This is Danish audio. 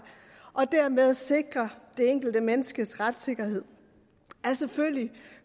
og dermed sikre det enkelte menneskes retssikkerhed er selvfølgelig